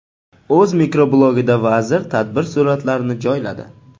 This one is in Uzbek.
O‘z mikroblogida vazir tadbir suratlarini joyladi.